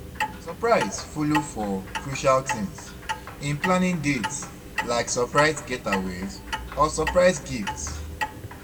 Surprise follow for crucial things in planning dates, like surprise getaways or surprise gifts.